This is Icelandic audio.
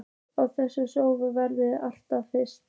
Á þessi sjónarmið verður ekki fallist.